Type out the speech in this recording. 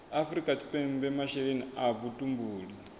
afrika tshipembe masheleni a vhutumbuli